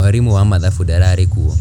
Mwarimu wa mathabu ndararĩ kuo